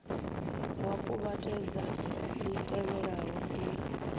wa kuvhatedza li tevhelaho ndila